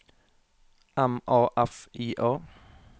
M A F I A